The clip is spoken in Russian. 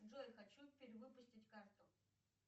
джой хочу перевыпустить карту